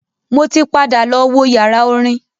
Mo ti padà lọ wo yàrá orin.